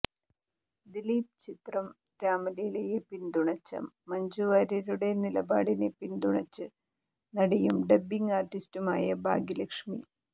ദിലീപ് ചിത്രം രാമലീലയെ പിന്തുണച്ച മഞ്ജു വാര്യരുടെ നിലപാടിനെ പിന്തുണച്ച് നടിയും ഡബ്ബിങ് ആർട്ടിസ്റ്റുമായ ഭാഗ്യലക്ഷ്മി